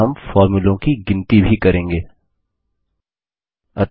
here we will also number the फॉर्मुले